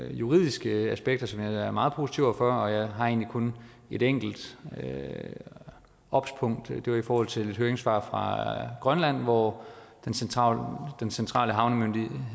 juridiske aspekter som jeg er meget positiv over for jeg har egentlig kun et enkelt obs punkt det er i forhold til et høringssvar fra grønland hvor den centrale den centrale havnemyndighed